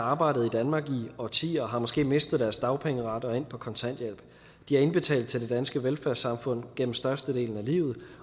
arbejdet i danmark i årtier og har måske mistet deres dagpengeret og er endt på kontanthjælp de har indbetalt til det danske velfærdssamfund gennem størstedelen af livet